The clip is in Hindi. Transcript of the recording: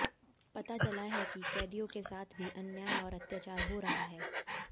पता चला है कि कैदियों के साथ भी अन्याय और अत्याचार हो रहा है